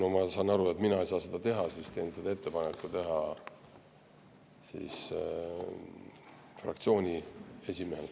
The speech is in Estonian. Samas saan aru, et mina ei saa seda teha, seega teen selle ettepaneku fraktsiooni esimehele.